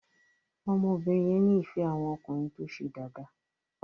ọmọ obìrin yẹ ní ìfé àwon ọkùnrin tó ṣe Dàda.